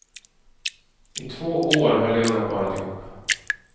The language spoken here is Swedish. I två år höll det unga paret ihop.